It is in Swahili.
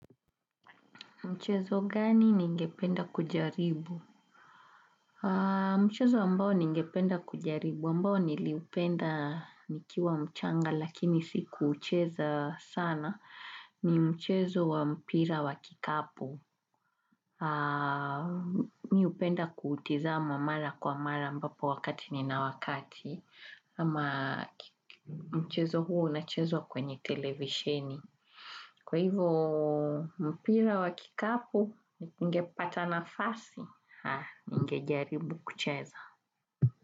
Mchezo gani ningependa kujaribu? Mchezo ambao ningependa kujaribu ambao niliupenda nikiwa mchanga lakini sikuucheza sana ni mchezo wa mpira wa kikapu. Mimi hupenda kutizama mara kwa mara ambapo wakati ni na wakati ama mchezo huu unachezwa kwenye televisheni. Kwa hivyo mpira wa kikapu, ningepata nafasi, ningejaribu kucheza.